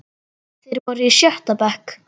Þeir voru í sjötta bekk.